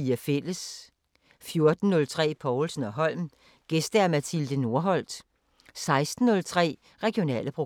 14:03: Povlsen & Holm: Gæst Mathilde Norholt 16:03: Regionale programmer